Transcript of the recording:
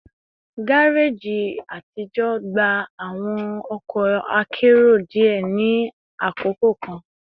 Gareji atijọ gba awọn ọkọ akero diẹ ni akoko kan